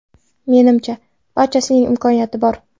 Menimcha, barchasining imkoni bor.